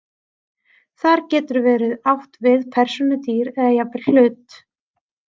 Þar getur verið átt við persónu, dýr eða jafnvel hlut.